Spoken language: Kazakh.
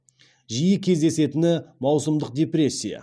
жиі кездесетіні маусымдық депрессия